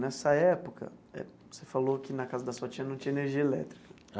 Nessa época, você falou que na casa da sua tia não tinha energia elétrica.